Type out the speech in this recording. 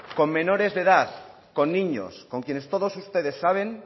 con menores de edad con niños con quienes todos ustedes saben